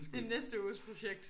Det er næste uges projekt